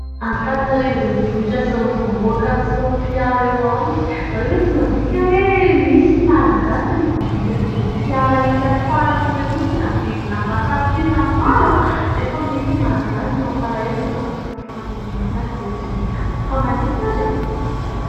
Antananarivo renivohitra sy ny vahoakany sy fiara eo aminy. Nareo ve tsy mandinika hoe misy ny malagasy tena mahavidy an' ireny fiara hika farany ireny mihintsy ny amin' ny vidiny aman-tapitrisany maro nefa misy ny malagasy mampalahelo fa na ny sakafony androany aza dia tsy hita. Fa maninona ary e?